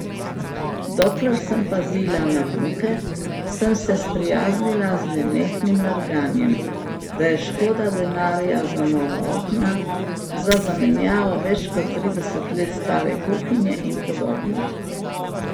Dokler sem pazila na vnuke, sem se sprijaznila z nenehnim nerganjem, da je škoda denarja za nova okna, za zamenjavo več kot trideset let stare kuhinje in podobno.